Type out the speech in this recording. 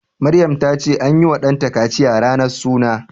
Maryam ta ce anyi wa ɗanta kaciya ranar suna